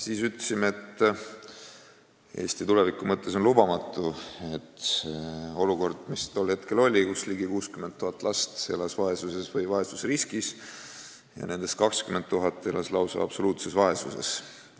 Siis ütlesime, et Eesti tuleviku mõttes on lubamatu olukord, mis tollal oli – ligi 60 000 last elas vaesuses või vaesusriskis ja nendest 20 000 elas lausa absoluutses vaesuses.